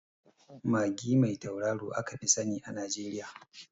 Magi mai tauraro aka fi sani a Najeriya